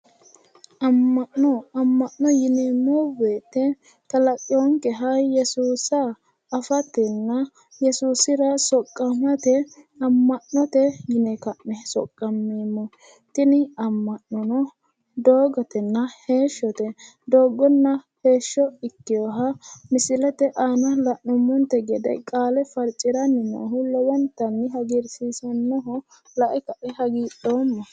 amma'no amma'no yineemmo wote kalaqinonkeha yesuusa afatenna yesuusira soqqamate amma'note yine ka'ne soqqameemmo tini amma'nono doogotenna heeshshote doogonna heeshsho ikkinoha misilete aana la'neemmonte gede qaale farciranni noohu lowontanni hagiirsiisannoho lae kae hagiidhoomma.